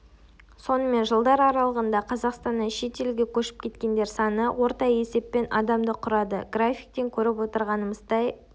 сонымен жылдар аралығында қазақстаннан шет елге көшіп кеткендер саны орта есеппен адамды құрады графиктен көріп отырғанымыздай